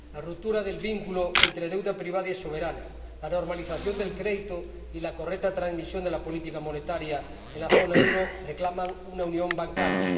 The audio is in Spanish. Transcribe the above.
La ruptura del vínculo entre deuda privada y soberana, la normalización del crédito y la correcta transmisión de la política monetaria en la zona euro reclaman una unión bancaria.